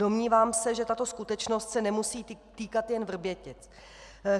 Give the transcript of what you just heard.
Domnívám se, že tato skutečnost se nemusí týkat jen Vrbětic.